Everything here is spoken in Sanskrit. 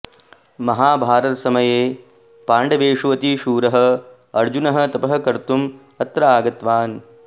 महाभारतसमये पाण्डवेषु अतिशूरः अर्जुनः तपः कर्तुम् अत्र आगतवान्